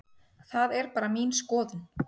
Það er bara mín skoðun.